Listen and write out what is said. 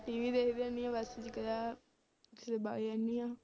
TV ਦੇਖਦੀ ਰਹਿੰਦੀ ਹਾਂ ਵਗ ਜਾਂਦੀ ਹਾਂ।